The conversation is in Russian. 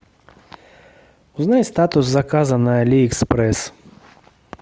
узнай статус заказа на алиэкспресс